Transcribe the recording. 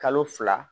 Kalo fila